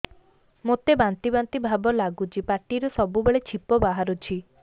ମୋତେ ବାନ୍ତି ବାନ୍ତି ଭାବ ଲାଗୁଚି ପାଟିରୁ ସବୁ ବେଳେ ଛିପ ବାହାରୁଛି